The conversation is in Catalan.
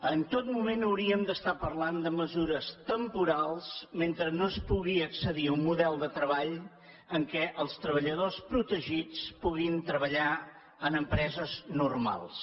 en tot moment hauríem d’estar parlant de mesures temporals mentre no es pugui accedir a un model de treball en què els treballadors protegits puguin treballar en empreses normals